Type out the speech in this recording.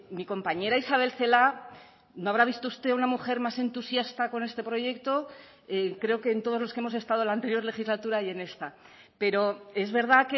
mi compañera isabel celaá no habrá visto usted una mujer más entusiasta con este proyecto creo que en todos los que hemos estado en la anterior legislatura y en esta pero es verdad